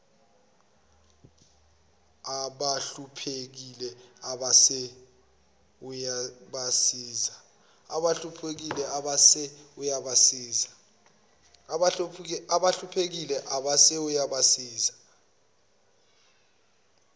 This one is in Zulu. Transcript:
abahluphekile abese uyabasiza